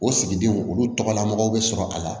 O sigidenw olu tɔgɔla mɔgɔw bɛ sɔrɔ a la